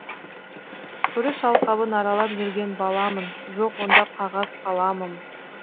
күріш алқабын аралап жүрген баламын жоқ онда қағаз қаламым